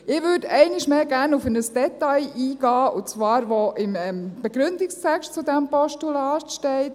Ich würde einmal mehr gerne auf ein Detail eingehen, das nämlich im Begründungstext zu diesem Postulat steht.